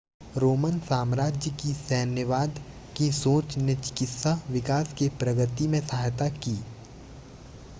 Roman साम्राज्य की सैन्यवाद की सोंच ने चिकित्सा विकास के प्रगति में सहायता की